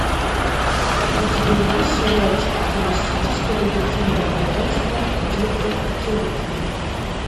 у тебя есть сериальчик холистическое детективное агентство дирка джентли